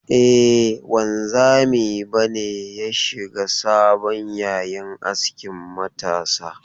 E, wanzami ba ne ya shiga sabon yayin askin matasa.